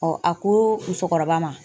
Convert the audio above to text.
a koo musokɔrɔba ma